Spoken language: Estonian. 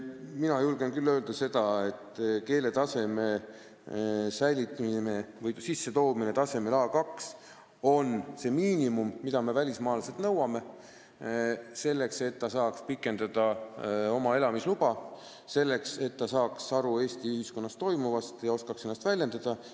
Mina julgen küll öelda, et keeleoskus tasemel A2 on see miinimum, mida me välismaalaselt nõuame, selleks et ta saaks pikendada elamisluba, selleks et ta saaks aru Eesti ühiskonnas toimuvast ja oskaks ennast väljendada.